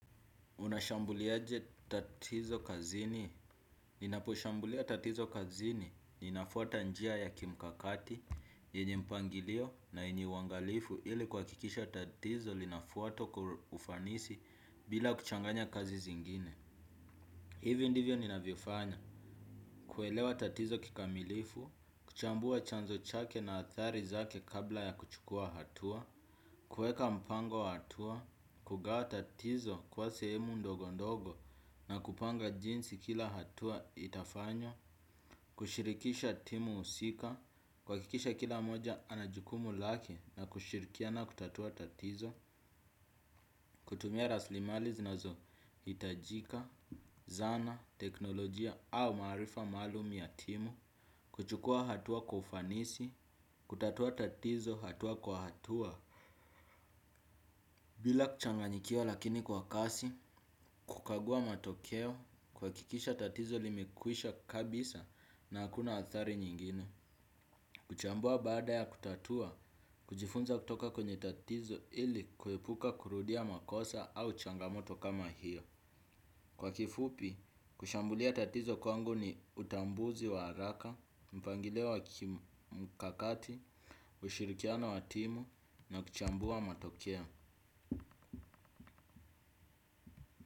Unashambuliaje tatizo kazini. Ninaposhambulia tatizo kazini. Ninafuata njia ya kimkakati, yenye mpangilio na yenye uwangalifu ili kuhakikisha tatizo linafuatwa kwa ufanisi bila kuchanganya kazi zingine. Hivi ndivyo ninavyofanya, kuelewa tatizo kikamilifu, kuchambua chanzo chake na athari zake kabla ya kuchukua hatua, kueka mpango wa hatua, kugawa tatizo kuwa sehemu ndogo ndogo na kupanga jinsi kila hatua itafanywa, kushirikisha timu husika, kuhakikisha kila mmoja anajukumu lake na kushirikiana kutatua tatizo, kutumia raslimali zinazohitajika, zana, teknolojia au maarifa maalum ya timu kuchukua hatua kwa ufanisi kutatua tatizo hatua kwa hatua bila kuchanganyikiwa lakini kwa kasi kukagua matokeo kuhakikisha tatizo limekwisha kabisa na hakuna athari nyingine kuchambua baada ya kutatua kujifunza kutoka kwenye tatizo ili kuepuka kurudia makosa au changamoto kama hiyo. Kwa kifupi, kushambulia tatizo kwangu ni utambuzi wa haraka, mpangilio wa kimkakati, ushirikiano wa timu na kuchambua matokeo.